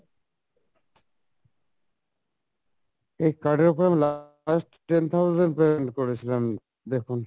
এই card এর ওপরে আমি last ten thousand payment করেছিলাম দেখুন